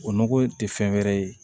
O nɔgɔ in tɛ fɛn wɛrɛ ye